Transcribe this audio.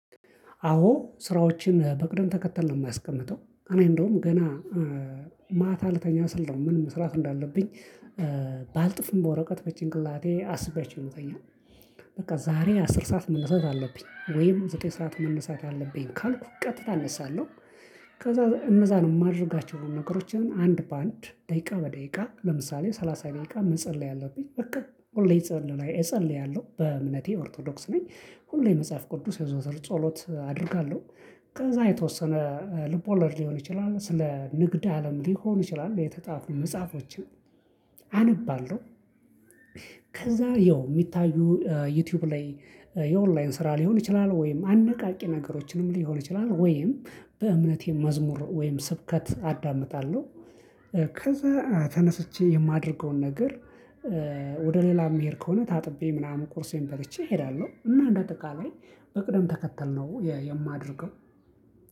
አዎ ስራዎችን በቅደም ተከተል ነው የማስቀምጠው እኔ እንደውም ገና ማታ ልተኛ ስል ነው ምን መስራት እንዳለብኝ ባልጽፍም በወረቀት በጭንቅላቴ አስቤያቸው ነው ምተኛው። በቃ ዛሬ አስር ሰዓት መነሳት አለብኝ ወይም ዘጠኝ ሰዓት መነሳት አለብኝ ካልኩ ቀጥታ እነሳለሁ። ከዛ እነዛን የማደርጋቸውን ነገሮችን አንድ በአንድ ደቂቃ በደቂቃ ለምሳሌ ሰላሳ ደቂቃ መጸለይ አለብኝ በቃ ሁሌ እጸልያለሁ በእምነቴ ኦርቶዶክስ ነኝ። ሁሌ መጽሐፍ ቅዱስ ዮዞር ጸሎት አደርጋለሁ። ከዛ የተወሰነ ልቦለድ ሊሆን ይችላል ስለ ንግድ አለም ሊሆን ይችላል የተጻፉ መጽሐፎችን አነባለሁ። ከዛ ያው ሚታዩ ዩቲዩብ ላይ የኦንላይን ስራ ሊሆን ይችላል ወይም አነቃቂ ነገሮችንም ሊሆን ይችላል ወይም በእምነቴ መዝሙር ወይም ስብከት አዳምጣለሁ። ከዛ ተነስቼ የማደርገውን ነገር ወደ ሌላ የሚሄድ ከሆነ ታጥቤ ምናምን ቁርሴን በልቼ እሄዳለሁ። እና እንደ አጠቃላይ በቅደም ተከተል ነው የማደርገው።